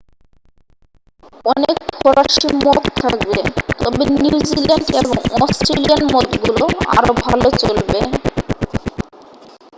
অনেক ফরাসি মদ থাকবে তবে নিউজিল্যান্ড এবং অস্ট্রেলিয়ান মদগুলো আরও ভাল চলবে